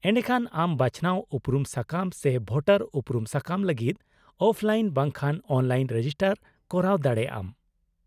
-ᱮᱰᱮᱠᱷᱟᱱ, ᱟᱢ ᱵᱟᱪᱷᱱᱟᱣ ᱩᱯᱨᱩᱢ ᱥᱟᱠᱟᱢ ᱥᱮ ᱵᱷᱳᱴᱟᱨ ᱩᱯᱨᱩᱢ ᱥᱟᱠᱟᱢ ᱞᱟᱹᱜᱤᱫ ᱚᱯᱷᱞᱟᱭᱤᱱ ᱵᱟᱝᱠᱷᱟᱱ ᱚᱱᱞᱟᱭᱤᱱ ᱨᱮᱡᱤᱥᱴᱟᱨ ᱠᱚᱨᱟᱣ ᱫᱟᱲᱮᱭᱟᱜ ᱟᱢ ᱾